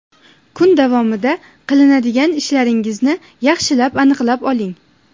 Kun davomida qiladigan ishlaringizni yaxshilab aniqlab oling.